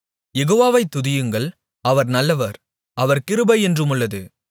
யெகோவாவை துதியுங்கள் அவர் நல்லவர் அவர் கிருபை என்றுமுள்ளது